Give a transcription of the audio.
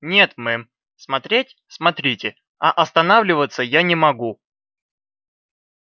нет мэм смотреть смотрите а останавливаться я не могу